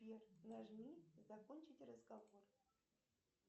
сбер нажми закончить разговор